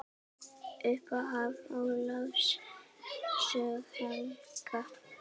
Upphaf Ólafs sögu helga.